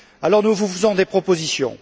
Alors, nous vous faisons des propositions.